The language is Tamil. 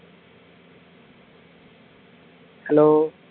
hello